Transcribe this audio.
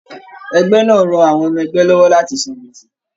Ẹgbẹ náà rán àwọn ọmọ ẹgbẹ lọwọ láti sàn gbese.